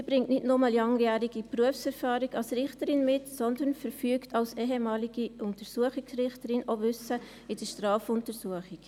Sie bringt nicht nur langjährige Berufserfahrung als Richterin mit, sondern verfügt als ehemalige Untersuchungsrichterin auch über Wissen in der Strafuntersuchung.